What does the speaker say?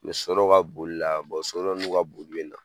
so dɔ ka bolila so dɔ n'u ka boli bɛ na.